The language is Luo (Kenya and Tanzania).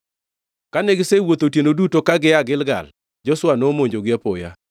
Kane gisewuotho otieno duto ka gia Gilgal, Joshua nomonjogi apoya.